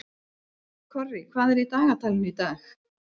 Korri, hvað er í dagatalinu í dag?